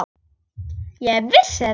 Ég vissi þetta!